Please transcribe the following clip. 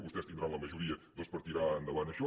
vostès tindran la majoria doncs per tirar endavant això